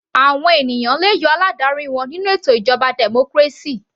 Àwọn ènìyàn le yọ aládarí wọn nínú ètò ìjọba democracy.